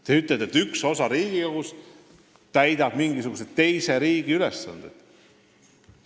Te ütlete, et üks osa Riigikogust täidab mingisuguse teise riigi ülesandeid.